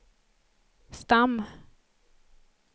stam